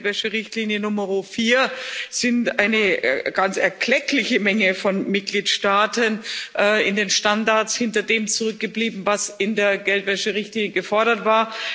Bei der Geldwäscherichtlinie Nummer 4 sind eine ganz erkleckliche Menge von Mitgliedstaaten in den Standards hinter dem zurückgeblieben, was in der Geldwäscherichtlinie gefordert war.